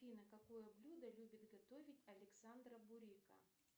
афина какое блюдо любит готовить александра бурика